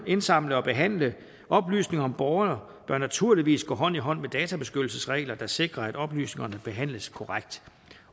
indsamle og behandle oplysninger om borgerne bør naturligvis gå hånd i hånd med databeskyttelsesregler der sikrer at oplysningerne behandles korrekt